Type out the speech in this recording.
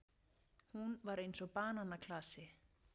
Hún var eins og bananaklasi.